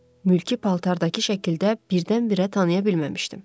Mülki paltardakı şəkildə birdən-birə tanıya bilməmişdim.